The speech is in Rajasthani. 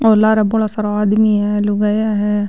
और लारा बड़ा सारा आदमी है लुगाईया है।